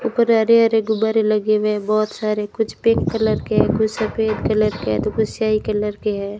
ऊपर हरे-हरे गुब्बारे लगे हुए है बहोत सारे कुछ पिंक कलर के है कुछ सफेद कलर के है तो कुछ स्याही कलर के है।